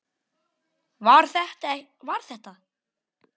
Var þetta.